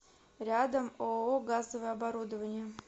рядом ооо газовое оборудование